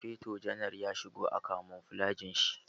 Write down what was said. Sufeto janar ya shigo a kamuflajin shi.